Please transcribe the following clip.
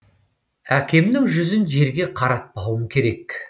әкемнің жүзін жерге қаратпауым керек